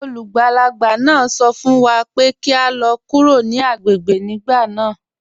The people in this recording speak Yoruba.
Olúgbálàgbà náà sọ̀ fún wà pé kí à lọ̀ kúrò ní agbègbè gbìgbà wọn lánà.